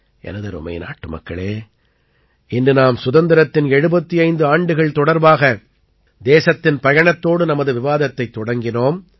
எனதருமை நாட்டுமக்களே இன்று நாம் சுதந்திரத்தின் 75 ஆண்டுகள் தொடர்பாக தேசத்தின் பயணத்தோடு நமது விவாதத்தைத் தொடங்கினோம்